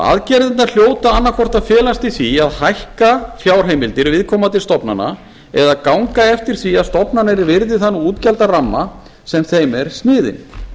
aðgerðirnar hljóta annaðhvort að felast í því að hækka fjárheimildir viðkomandi stofnana eða ganga eftir því að stofnanir virði þann útgjaldaramma sem þeim er sniðinn